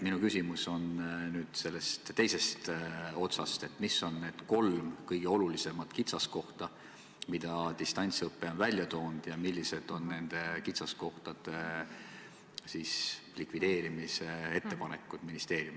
Minu küsimus on teise otsa kohta: mis on kolm kõige olulisemat kitsaskohta, mida distantsõpe on välja toonud, ja millised on ministeeriumi ettepanekud nende kitsaskohtade likvideerimiseks?